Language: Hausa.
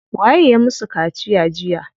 Waye ya musu kaciya jiya?